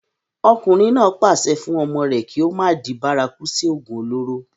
ọkùnrin náà pàṣẹ fún ọmọ rẹ̀ kí ó má di bárakú sí ògùn olóró